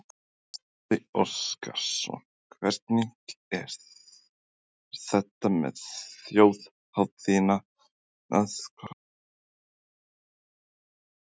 Gísli Óskarsson: Hvernig er þetta með þjóðhátíðina, hvað er það sem hún býður upp á?